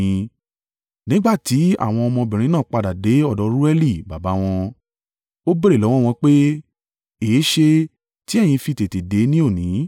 Nígbà ti àwọn ọmọbìnrin náà padà dé ọ̀dọ̀ Reueli baba wọn, ó béèrè lọ́wọ́ wọn pé, “Èéṣe tí ẹ̀yin fi tètè dé ni òní?”